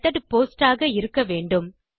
method post ஆக இருக்க வேண்டும்